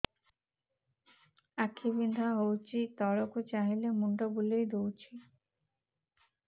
ଆଖି ବିନ୍ଧା ହଉଚି ତଳକୁ ଚାହିଁଲେ ମୁଣ୍ଡ ବୁଲେଇ ଦଉଛି